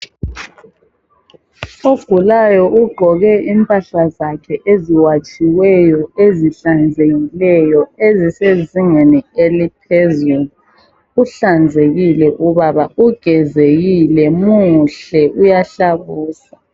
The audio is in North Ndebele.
Ogulayo ugqoke impahla zakhe eziwatshiweyo, ezihlanzekileyo ezisezingeni eliphezulu. Uhlanzekile ubaba ugezekile muhle uyahlabusa.